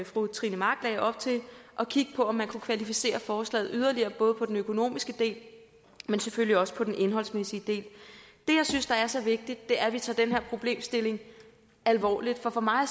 fru trine mach lagde op til at kigge på om man kunne kvalificere forslaget yderligere både på den økonomiske del men selvfølgelig også på den indholdsmæssige del det jeg synes er så vigtigt er at vi tager den her problemstilling alvorligt for for mig at